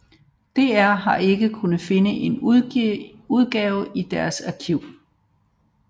DR har ikke kunne finde en udgave i deres arkiv